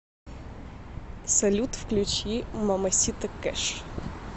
салют включи мамасита кэш